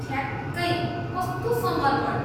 ठ्याक्कै! कस्तो समर्पण।